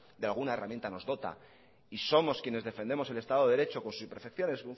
de alguna herramienta nos dota y somos quienes defendemos el estado de derecho con sus imperfecciones